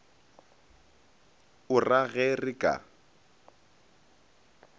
o ra ge re ka